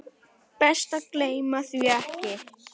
Best að gleyma því ekki.